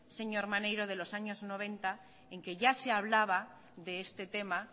señor maneiro de los años noventa en que ya se hablaba de este tema